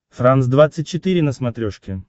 франс двадцать четыре на смотрешке